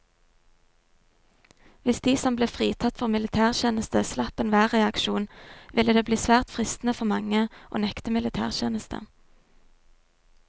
Hvis de som ble fritatt for militærtjeneste slapp enhver reaksjon, ville det bli svært fristende for mange å nekte militætjeneste.